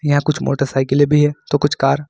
यहां कुछ मोटरसाइकिलें भी है तो कुछ कार --